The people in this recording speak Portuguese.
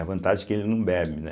A vantagem é que ele não bebe, né?